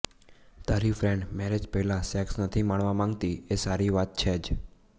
તારી friend marriage પહેલાં sex નથી માણવા માગતી એ સારી વાત છે જ